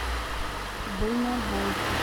дальнобойщик